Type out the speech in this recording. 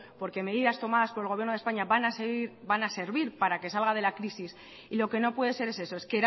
porque medidas tomadas por el gobierno de españa van a servir para que salga de la crisis y lo que no puede ser es eso es